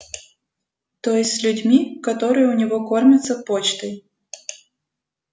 то есть с людьми которые у него кормятся почтой